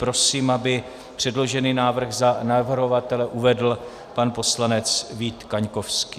Prosím, aby předložený návrh za navrhovatele uvedl pan poslanec Vít Kaňkovský.